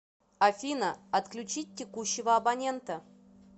афина отключить текущего абонента